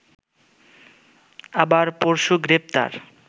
আবার পরশু গ্রেপ্তার